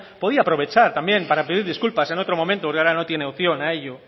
podría aprovechar también para pedir disculpas en otro momento porque ahora no tiene opción para ello